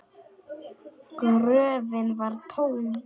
Gröfin var tóm!